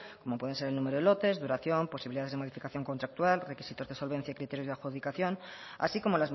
como pueden ser el número de lotes duración posibilidades de modificación contractual requisitos de solvencia y criterios de adjudicación así como